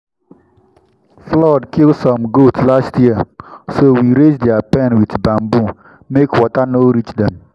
flood kill some goat last year so we raise their pen with bamboo make water no reach dem.